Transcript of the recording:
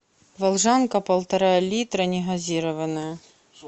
волжанка полтора литра негазированная